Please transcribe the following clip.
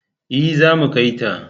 E, zamu kai ta.